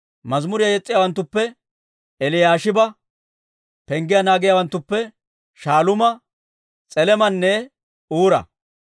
Mazimuriyaa yes's'iyaawanttuppe: Eliyaashiba. Penggiyaa naagiyaawanttuppe: Shaaluuma, S'elemanne Uura.